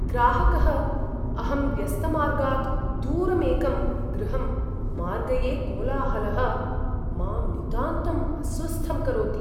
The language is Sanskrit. ग्राहकः, अहं व्यस्तमार्गात् दूरम् एकं गृहम् मार्गये कोलाहलः मां नितान्तम् अस्वस्थं करोति।